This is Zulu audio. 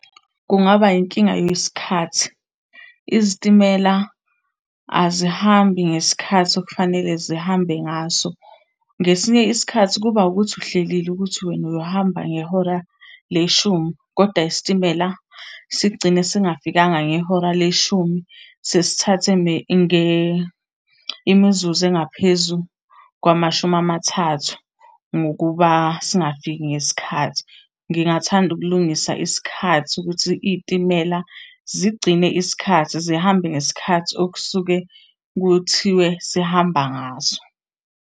Kungaba yinkinga yesikhathi. Izitimela azihambi ngesikhathi okufanele zihambe ngaso. Ngesinye isikhathi kuba ukuthi uhlelile ukuthi wena uyohamba ngehora leshumi, koda isitimela sigcine singafikanga ngehora leshumi sesithathe imizuzu engaphezu kwamashumi amathathu ngokuba singafiki ngesikhathi. Ngingathanda ukulungisa isikhathi ukuthi iy'timela zigcine isikhathi, zihambe ngesikhathi okusuke kuthiwe sihamba ngaso.